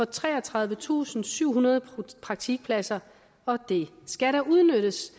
treogtredivetusinde og syvhundrede praktikpladser og det skal da udnyttes